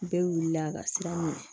Bɛɛ wulila ka siran ɲɛ